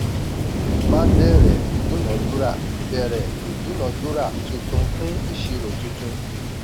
má bẹ̀rẹ̀ ìdúnadúrà bẹ̀rẹ̀ ìdúnadúrà tuntun fún ìṣirò tuntun.